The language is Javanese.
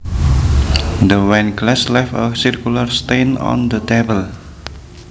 The wine glass left a circular stain on the table